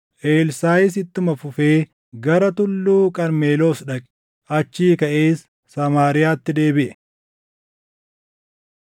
Elsaaʼis ittuma fufee gara Tulluu Qarmeloos dhaqe; achii kaʼees Samaariyaatti deebiʼe.